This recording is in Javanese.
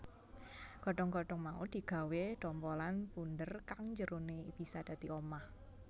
Godhong godhong mau digawé dhompolan bunder kang njerone bisa dadi omah